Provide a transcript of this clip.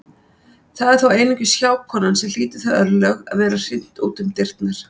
Það er þó einungis hjákonan sem hlýtur þau örlög að vera hrint út um dyrnar.